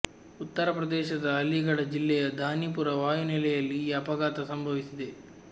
ಉತ್ತರ ಪ್ರದೇಶದ ಅಲಿಗಢ ಜಿಲ್ಲೆಯ ಧಾನಿಪುರ ವಾಯುನೆಲೆಯಲ್ಲಿ ಈ ಅಪಘಾತ ಸಂಭವಿಸಿದೆ